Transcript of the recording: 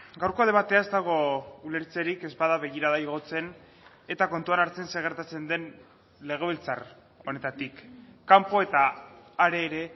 gaurko debatea ez dago ulertzerik ez bada begirada igotzen eta kontuan hartzen zer gertatzen den legebiltzar honetatik kanpo eta hare ere